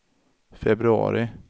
februari